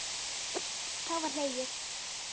Þá var hlegið.